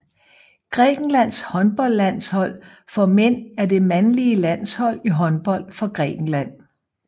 Grækenlands håndboldlandshold for mænd er det mandlige landshold i håndbold for Grækenland